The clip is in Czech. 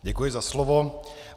Děkuji za slovo.